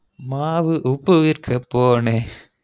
மாவு உப்பு விற்க போனே